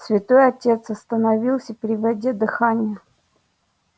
святой отец остановился переводя дыхание